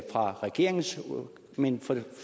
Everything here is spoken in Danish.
fra regeringens men